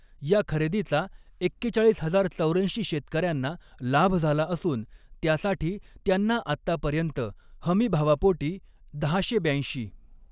या खरेदीचा एक्केचाळीस हजार चौऱ्याऐंशी शेतकऱ्यांना लाभ झाला असून त्यासाठी त्यांना आत्तापर्य़ंत हमीभावापोटी दहाशे ब्याऐंशी.